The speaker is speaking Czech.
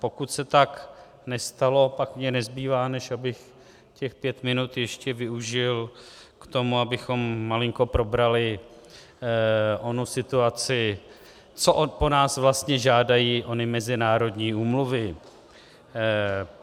Pokud se tak nestalo, pak mně nezbývá, než abych těch pět minut ještě využil k tomu, abychom malinko probrali onu situaci, co po nás vlastně žádají ony mezinárodní úmluvy.